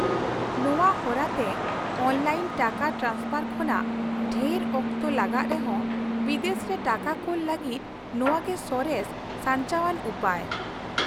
-ᱱᱚᱶᱟ ᱦᱚᱨᱟᱛᱮ ᱚᱱᱞᱟᱭᱤᱱ ᱴᱟᱠᱟ ᱴᱨᱟᱱᱥᱯᱷᱟᱨ ᱠᱷᱚᱱᱟᱜ ᱰᱷᱮᱨ ᱚᱠᱛᱚ ᱞᱟᱜᱟᱜ ᱨᱮᱦᱚᱸ ᱵᱤᱫᱮᱥ ᱨᱮ ᱴᱟᱠᱟ ᱠᱩᱞ ᱞᱟᱹᱜᱤᱫ ᱱᱚᱶᱟ ᱜᱮ ᱥᱚᱨᱮᱥ ᱥᱟᱧᱪᱟᱣᱟᱱ ᱩᱯᱟᱹᱭ ᱾